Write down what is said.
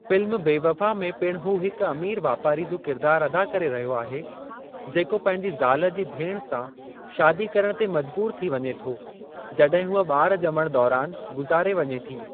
Film Bewafa में पिणु हू हिक अमीर वापारी जो किरिदारु अदा करे रहियो आहे जेको पंहिंजी ज़ाल जी भेण सां शादी करण ते मजबूरु थी वञे थो जॾहिं हूअ ॿार ॼमण दौरानि गुज़ारे वञे थी।